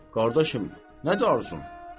Dedim: qardaşım, nədir arzun?